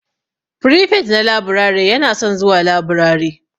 Firifet na laburare yana son zuwa laburare.